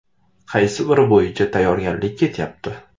Qaysi biri bo‘yicha tayyorgarlik ketyapti?